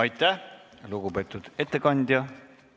Aitäh, lugupeetud ettekandja!